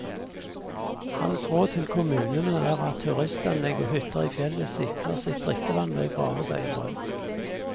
Hans råd til kommunene er at turistanlegg og hytter i fjellet sikrer sitt drikkevann ved å grave seg en brønn.